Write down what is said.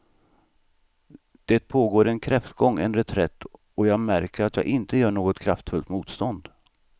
Det pågår en kräftgång, en reträtt och jag märker att jag inte gör något kraftfullt motstånd.